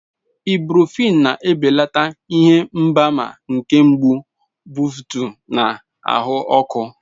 Ibuprofen na-ebelata ihe mgbaàmà nke mgbu, mbufụt, na ahụ ọkụ.